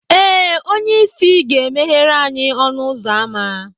Ee, onye isi ga emeghere anyị ọnụ ụzọ ámá